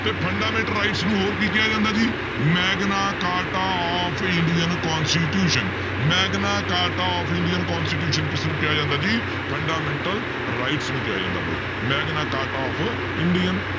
ਤੇ fundamental rights ਨੂੰ ਹੋਰ ਕੀ ਕਿਹਾ ਜਾਂਦਾ ਜੀ, Magna Carta of Indian constitution Magna Carta of Indian constitution ਕਿਸਨੂੰ ਕਿਹਾ ਜਾਂਦਾ ਜੀ fundamental rights ਨੂੰ ਕਿਹਾ ਜਾਂਦਾ ਬਾਈ ਮੈਗਨਾ ਕਾਰਟਾ of ਇੰਡੀਅਨ